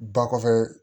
Ba kɔfɛ